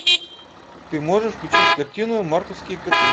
ты можешь включить картину мартовские коты